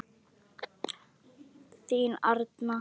Þín Arna.